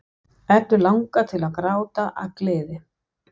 Eddu langar til að gráta af gleði.